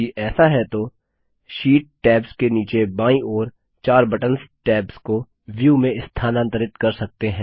यदि ऐसा है तो शीट टैब्स के नीचे बायीं ओर चार बटंस टैब्स को व्यू में स्थानांतरित कर सकते हैं